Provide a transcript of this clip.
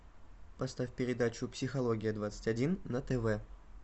поставь передачу психология двадцать один на тв